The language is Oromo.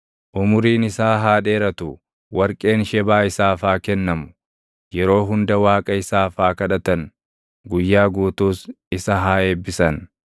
Umuriin isaa haa dheeratu; warqeen Shebaa isaaf haa kennamu. Yeroo hunda Waaqa isaaf haa kadhatan; guyyaa guutuus isa haa eebbisan.